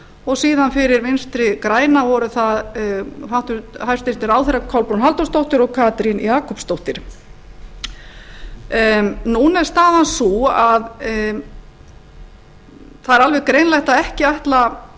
og síðan fyrir vinstri græna voru það hæstvirtir ráðherrar kolbrún halldórsdóttir og katrín jakobsdóttir núna er staðan sú að það er alveg greinilegt að ekki ætla